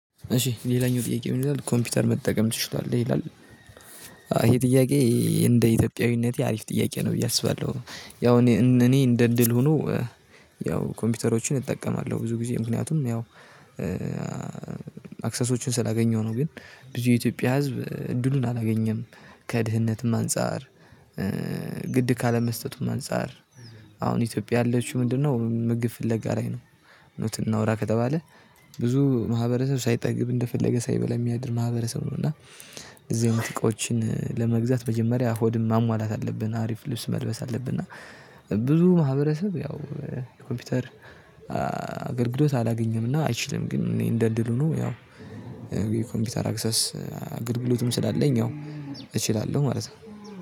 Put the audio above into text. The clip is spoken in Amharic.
እሺ ሌላኛው ጥያቄ ምን ይላል? ኮምፒውተር መጠቀም ትችላለህ ይላል። ይሄ ጥያቄ እንደ ኢትዮጵያዊነቴ አሪፍ ጥያቄ ነው ብዬ አስባለሁ። ያው እኔ እኔ እንደ እድል ሆኖ። ያው ኮምፒውተሮችን እጠቀማለሁ ብዙ ጊዜ ምክንያቱም ያው አክሰሶችን ስላገኘሁ ነው። ግን ብዙ የኢትዮጵያ ህዝብ እድሉን አላገኘም ከድህነትም አንፃር። ግድ ካለመስጠቱም አንፃር አሁን ኢትዮጵያ አለችው ምንድነው ምግብ ፍለጋ ላይ ነው። እውነቱን እናውራ ከተባለ ብዙ ማህበረሰብ ሳይጠግብ እንደፈለገ ሳይበላ ሚያድር ማህበረሰብ ነው። እና እነዚህ አይነት እቃዎችን ለመግዛት መጀመሪያ ሆድን ማሟላት አለብን አሪፍ ልብስ መልበስ አለብን። እና ብዙ ማህበረሰብ ያው ኮምፒውተር አገልግሎት አላገኘም እና አይችልም። ግን እኔ እንደ እድል ሆኖ ያው የኮምፒውተር አክሰስ አገልግሎትም ስላለኝ ያው እችላለሁ ማለት ነው።